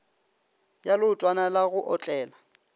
ya leotwana la go otlela